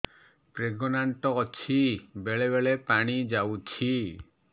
pregnant ଅଛି ବେଳେ ବେଳେ ପାଣି ଯାଉଛି